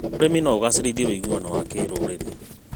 ũrĩmi no ũgacĩrithie ũiguano wa kĩrũrĩrĩ.